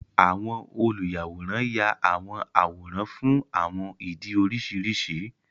Àwọn oluyàwòrán yá àwọn àwòrán fún àwọn ìdí oríṣiríṣi.